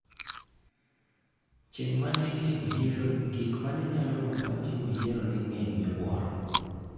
Chieng' ma ne itimo yiero, gik ma ne nyalo monowa timo yiero ne ng'eny miwuoro.